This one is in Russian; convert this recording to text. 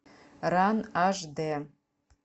ран аш д